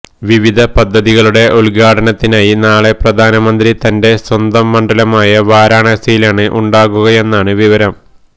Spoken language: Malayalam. വിവിധ പദ്ധതികളുടെ ഉദ്ഘാടനത്തിനായി നാളെ പ്രധാനമന്ത്രി തന്റെ സ്വന്തം മണ്ഡലമായ വാരണാസിയിലാണ് ഉണ്ടാകുകയെന്നാണ് വിവരം